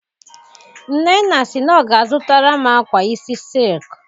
Nnenna si na ọ ga-azutaram akwa isi silki.